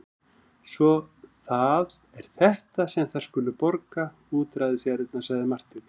Svo það er þetta sem þær skulu borga útræðisjarðirnar, sagði Marteinn.